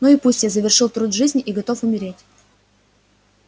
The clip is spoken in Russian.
ну и пусть я завершил труд жизни и готов умереть